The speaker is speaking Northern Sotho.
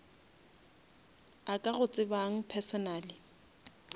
a ka go tsebang personally